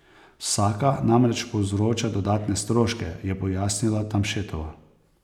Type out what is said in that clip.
Vsaka namreč povzroča dodatne stroške, je pojasnila Tamšetova.